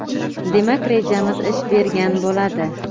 demak rejamiz ish bergan bo‘ladi.